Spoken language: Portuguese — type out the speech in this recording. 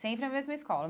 Sempre a mesma escola.